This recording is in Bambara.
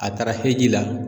A taara heji la.